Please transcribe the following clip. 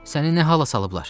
Səni nə hala salıblar?